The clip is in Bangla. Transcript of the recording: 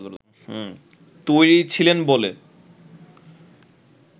তৈরি ছিলেন বলে